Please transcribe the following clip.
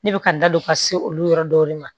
Ne bɛ ka n da don ka se olu yɔrɔ dɔw de ma